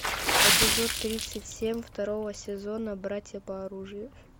эпизод тридцать семь второго сезона братья по оружию